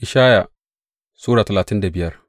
Ishaya Sura talatin da biyar